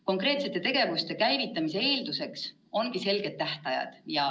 Konkreetsete tegevuste käivitamise eelduseks on selged tähtajad.